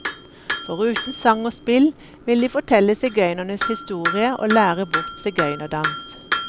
Foruten sang og spill, vil de fortelle sigøynernes historie og lære bort sigøynerdans.